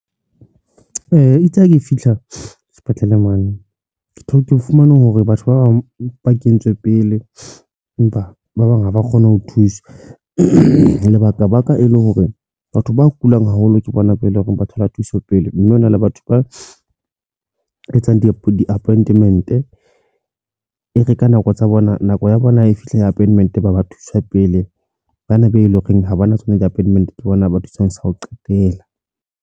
Eya, itse ha ke fihla sepetlele mane. Ke o fumane hore batho ba bang ba kentswe pele, empa ba bang haba kgone ho thuswa. Lebaka baka e le hore batho ba kulang haholo ke bona be leng hore ba thole thuso pele. Mme hona le batho ba etsang di-app di-appointment. E re ka nako tsa bona nako ya bona e fihle appointment ba ba thuswa pele. Ba na be eleng horeng ha bona tsona di-appointment ke bona ba thuswang sa ho qetela.